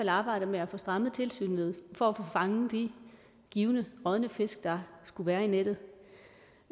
arbejdet med at få strammet tilsynet for at få fanget de givne rådne fisk der skulle være i nettet